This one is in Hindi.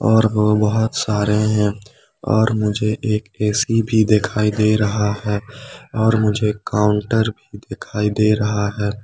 और वो बहुत सारे हैं और मुझे एक ए_सी भी दिखाई दे रहा है और मुझे काउंटर दिखाई दे रहा है।